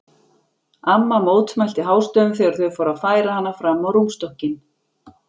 Amma mótmælti hástöfum þegar þau fóru að færa hana fram á rúmstokkinn.